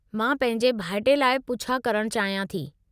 मां पंहिंजे भाइटे लाइ पुछा करणु चाहियां थी।